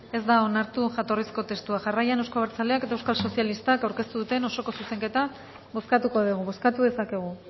ez da onartu jatorrizko testua jarraian euzko abertzaleak eta euskal sozialistak aurkeztu duten osoko zuzenketa bozkatuko dugu bozkatu dezakegu